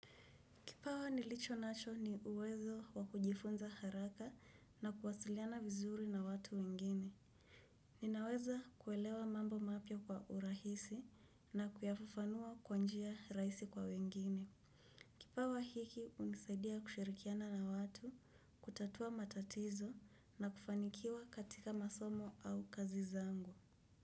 Kipawa nilicho nacho ni uwezo wakujifunza haraka na kuwasiliana vizuri na watu wengine. Ninaweza kuelewa mambo mapya kwa urahisi na kuyafafanua kwa njia rahisi kwa wengine. Kipawa hiki hunisaidia kushirikiana na watu, kutatua matatizo na kufanikiwa katika masomo au kazi zangu.